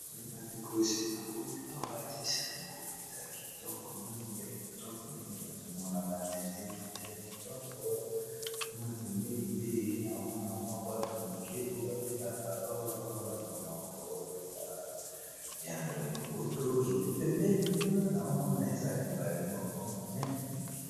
Bandeko esika na komi awa eza esika moko mpenza ya kitoko mingi ya kitoko mingi nazomona ba nzete, nzete ya kitoko kuna pembeni pe na omona mwa bwato moke oyo babengaka orbor na monoko ya lopoto epi pembeni kuna na omona eza ebale moko monene mingi.